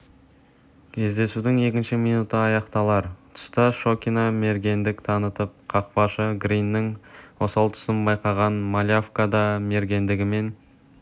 кездесудің екінші минуты аяқталар тұста шокина мергендік танытты қақпашы гриннің осал тұсын байқаған малявка да мергендігімен